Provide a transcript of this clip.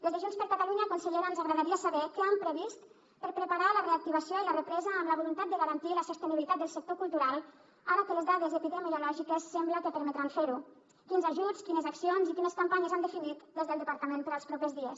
des de junts per catalunya consellera ens agradaria saber què han previst per preparar la reactivació i la represa amb la voluntat de garantir la sostenibilitat del sector cultural ara que les dades epidemiològiques sembla que permetran fer ho quins ajuts quines accions i quines campanyes han definit des del departament per als propers dies